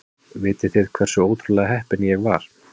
Vitið þið hversu ótrúlega heppinn ég var?